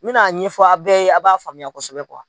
N bɛna a ɲɛfɔ a bɛ ye a b'a faamuya kosɛbɛ kuwa.